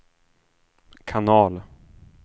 kanal